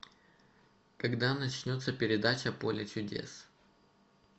когда начнется передача поле чудес